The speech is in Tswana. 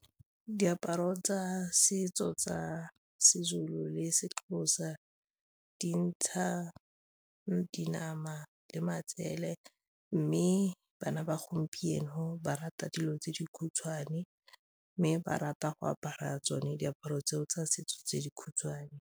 Diaparo tsa setso tsa Sezulu le Sexhosa di ntsha dinama le matsele mme bana ba gompieno ba rata dilo tse di khutshwane mme ba rata go apara tsone diaparo tseo tsa setso tse di khutshwane.